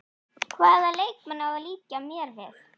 Hvaða leikmann á að líkja mér við?